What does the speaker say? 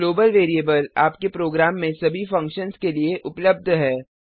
global variable आपके program में सभी फंक्शन्स के लिए उपलब्ध है